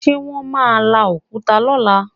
Ṣe wọ́n máa la òkúta lọ́la?